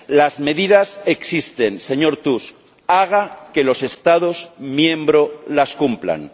Las medidas existen, señor Tusk, haga que los Estados miembros las cumplan.